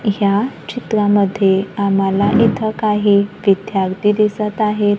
ह्या चित्रामध्ये आम्हाला इथं काही विद्यार्थी दिसत आहेत.